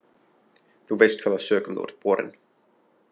Þú veist hvaða sökum þú ert borinn.